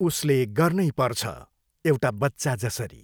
उसले गर्नै पर्छ, एउटा बच्चा जसरी।